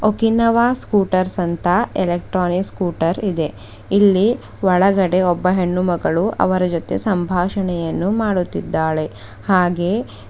Okinawa scooters ಅಂತ electronic scooter ಇದೆ ಇಲ್ಲಿ ಒಳಗಡೆ ಒಬ್ಬ ಹೆಣ್ಣುಮಗಳು ಅವರ ಜೊತೆ ಸಂಭಾಷಣೆಯನ್ನು ಮಾಡುತ್ತಿದ್ದಾಳೆ ಹಾಗೆ--